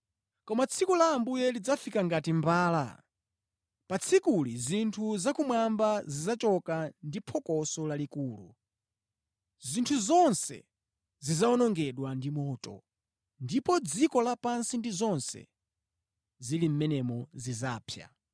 Koma tsiku la Ambuye lidzafika ngati mbala. Pa tsikuli zinthu zakumwamba zidzachoka ndi phokoso lalikulu. Zinthu zonse zidzawonongedwa ndi moto, ndipo dziko lapansi ndi zonse zili mʼmenemo zidzapsa.